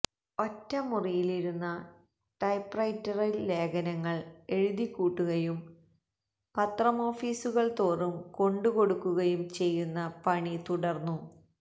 ഒറ്റമുറിയിലിരുന്നു ടൈപ്പ്റൈറ്ററില് ലേഖനങ്ങള് എഴുതിക്കൂട്ടുകയും പത്രമോഫീസുകള് തോറും കൊണ്ട് കൊടുക്കുകയും ചെയ്യുന്ന പണി തുടര്ന്നു